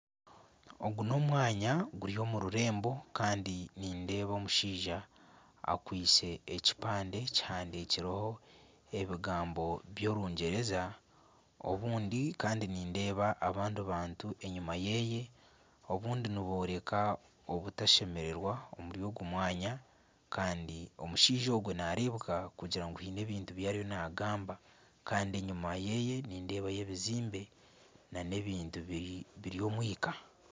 Ogu n'omwanya guri omu rurembo kandi nindeeba omushaija akwaitse ekipande kihandiikirweho ebigambo by'orungyereza obundi kandi nindeeba abandi bantu enyima yeeye obundi nibooreka obutashemererwa omuri ogu mwanya kandi omushaija ogu nareebeka kugira ngu haine ebintu ebi ariyo nagamba kandi enyuma yeeye nindeebayo ebizimbe nana ebintu biri omwika.